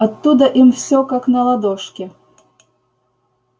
оттуда им все как на ладошке